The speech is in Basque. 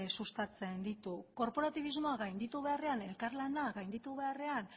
sustatzen ditu korporatibismoa gainditu beharrean elkarlana gainditu beharrean